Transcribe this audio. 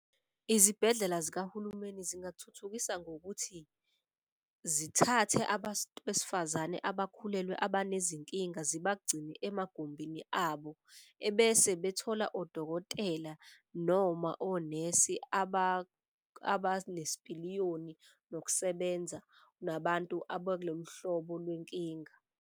Izibhedlela zikahulumeni zingathuthukisa ngokuthi zithathe abantu besifazane abakhulelwe abanezinkinga zibagcine emagumbini abo. Ebese bethola odokotela noma onesi abanesipiliyoni nokusebenza nabantu abakulolu hlobo lwenkinga.